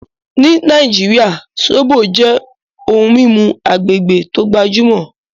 Ní Naijíríà, ṣọbọ̀ jẹ́ ohun mimú agbegbé tó gbajumọ